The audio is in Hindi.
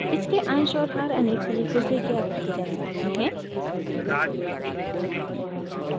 इसके अंश और हर अनेक तरीकों से ज्ञात किये जा सकते हैं